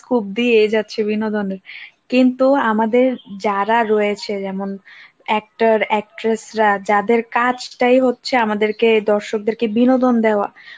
scope দিয়েই যাচ্ছে বিনোদনে, কিন্তু আমাদের যারা রয়েছে যেমন actor actresses রা যাদের কাজটাই হচ্ছে আমাদেরকে দর্শকদেরকে বিনোদন দেওয়া,